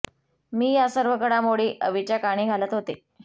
मी या सर्व घडामोडी अवीच्या कानी घालत होते